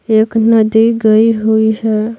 एक नदी गई हुई है।